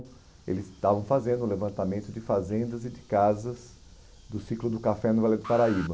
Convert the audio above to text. E eles estavam fazendo o levantamento de fazendas e de casas do ciclo do café no Vale do Paraíba.